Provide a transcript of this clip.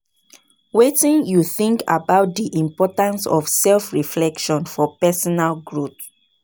Wetin you think about di importance of self-reflection for personal growth?